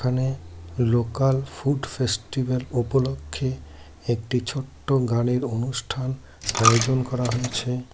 এখানে local food festival উপলক্ষে একটি ছোট্ট গানের অনুষ্ঠান আয়োজন করা হয়েছে।